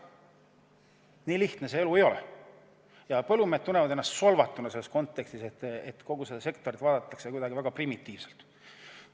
Nii lihtne see elu ei ole ja põllumehed tunnevad ennast solvatuna, et kogu sektorit vaadatakse kuidagi väga primitiivselt.